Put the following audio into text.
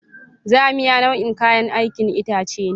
Zamiya nau'in kayan aikin itace ne.